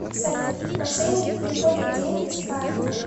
салют мошенники переводят деньги с карты